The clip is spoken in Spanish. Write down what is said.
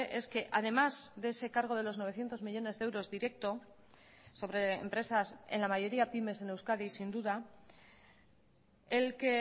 es que además de ese cargo de los novecientos millónes de euros directo sobre empresas en la mayoría pymes en euskadi sin duda el que